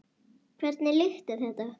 Hvernig lykt er þetta?